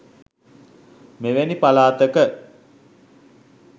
මෙවැනි පළාතක